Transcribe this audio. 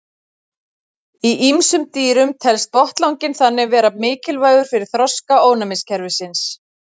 í ýmsum dýrum telst botnlanginn þannig vera mikilvægur fyrir þroska ónæmiskerfisins